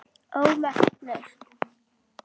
ómerkt lausn